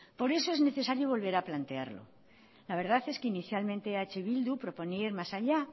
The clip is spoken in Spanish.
por eso es necesario volver a plantearlo la verdad es que inicialmente eh bildu proponía ir más allá